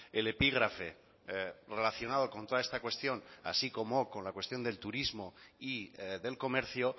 el epígrafe relacionado con toda esta cuestión así como con la cuestión del turismo y del comercio